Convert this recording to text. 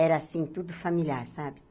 Era assim, tudo familiar, sabe?